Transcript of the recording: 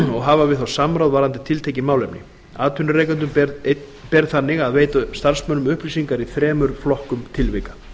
og hafa við þá samráð varðandi tiltekin málefni atvinnurekendum ber þannig að veita starfsmönnum upplýsingar í þremur flokkum tilvika